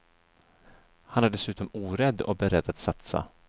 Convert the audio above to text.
Han är dessutom orädd och beredd att satsa.